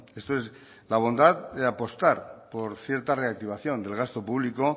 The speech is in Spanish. esto es la bondad de apostar por cierta reactivación del gasto público